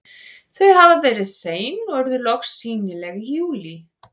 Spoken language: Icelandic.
Þau hafa verið sein og urðu loks sýnileg í júlí.